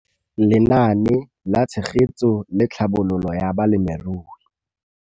Lenaane la Tshegetso le Tlhabololo ya Balemirui.